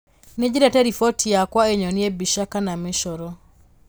Nĩ nyendete roboti yakwa ĩnyonie mbica kana mĩcoro